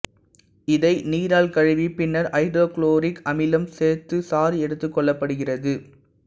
இதை நீரால் கழுவி பின்னர் ஐதரோகுளோரிக் அமிலம் சேர்த்து சாறு எடுத்துக் கொள்ளப்படுகிறது